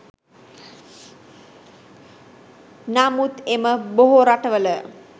නමුත් එම බොහෝ රටවල